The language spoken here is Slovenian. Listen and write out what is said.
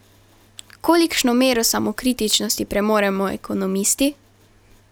Kolikšno mero samokritičnosti premoremo ekonomisti?